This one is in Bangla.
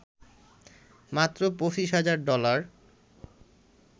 মাত্র ২৫ হাজার ডলার